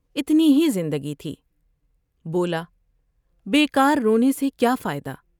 اتنی ہی زندگی تھی ، بولا ' بیکارو نے سے کیا فائدہ ۔